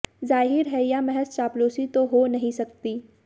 जाहिर है यह महज चापलूसी तो हो नहीं सकती